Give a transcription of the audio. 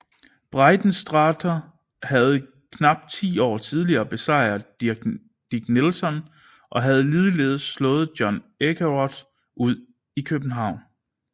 Breitensträter havde knap ti år tidligere besejret Dick Nelson og havde ligeledes slået Johan Ekeroth ud i København